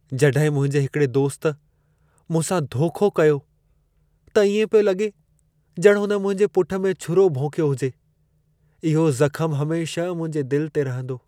जॾहिं मुंहिंजे हिकिड़े दोस्त मूंसां धोखो कयो, त इएं पियो लॻे ॼणु हुन मुंहिंजे पुठ में छुरो भोंकियो हुजे। इहो ज़खम हमेशह मुंहिंजे दिल ते रहंदो।